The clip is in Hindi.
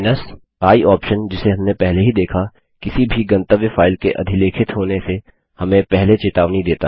i ऑप्शन जिसे हमने पहले ही देखा किसी भी गंतव्य फाइल के अधिलेखित होने से हमें पहले चेतावनी देता है